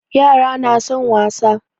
Yara na son wasa